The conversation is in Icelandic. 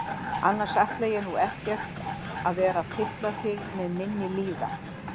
Annars ætla ég nú ekkert að vera að fylla þig með minni líðan.